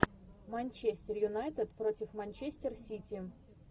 манчестер юнайтед против манчестер сити